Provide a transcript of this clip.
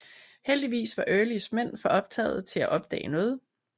Heldigvis var Earlys mænd for optagede til at opdage noget